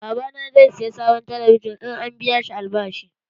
Babana zai saya sabon talabijin in an biya shi albashi.